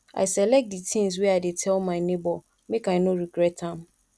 i select di tins wey i dey tell my nebor make i no regret am